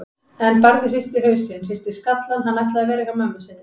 En Barði hristi hausinn, hristi skallann, hann ætlaði að vera hjá mömmu sinni.